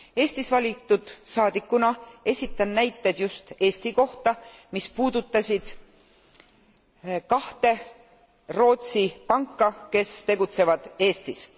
Eestist valitud saadikuna esitan näited just Eesti kohta, mis puudutasid kahte Rootsi panka, kes tegutsevad Eestis.